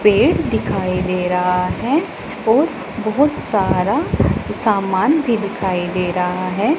पेड़ दिखाई दे रहा है और बहोत सारा सामान भी दिखाई दे रहा है।